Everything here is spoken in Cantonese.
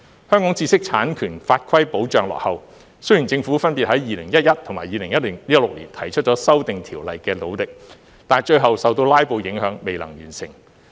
香港知識產權法規保障落後，雖然政府分別在2011年和2016年提出修訂條例的努力，但最後受"拉布"影響，未能完成。